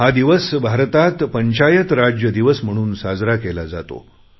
हा दिवस भारतात पंचायत राज दिवस म्हणून साजरा केला जातो